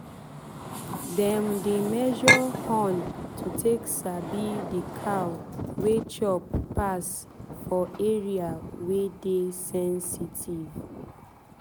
dem dey measure horn to take sabi the cow wey chop pass for area wey dey sensitive.